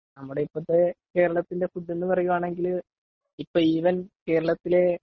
നമ്മുടെ ഇപ്പോഴത്തെ കേരളത്തിന്റെ ഫുഡ്‌ എന് പേറയുവാണെങ്കിൽ ഇപ്പോ ഇവൻ കേരളത്തിലെ